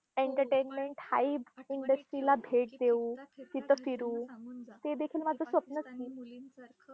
Entertainment hip industry ला भेट देऊ, तिथं फिरू, ते देखील माझं स्वप्नच आहे.